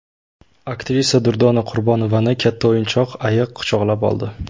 Aktrisa Durdona Qurbonovani katta o‘yinchoq ayiq quchoqlab oldi.